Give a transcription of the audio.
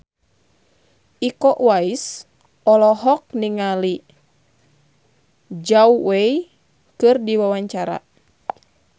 Iko Uwais olohok ningali Zhao Wei keur diwawancara